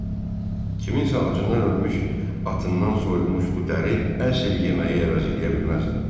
Kimsə acından ölmüş atından soyulmuş bu dəri əsl yeməyi əvəz eləyə bilməzdi.